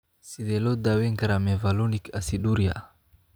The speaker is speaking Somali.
Sidee loo daweyn karaa mevalonic aciduria?